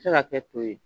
Se ka kɛ to ye